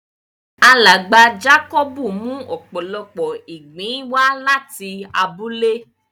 Alágba Jákòbù mú òpòlọ́pọ̀ ìgbìn wà latí àbúlẹ̀.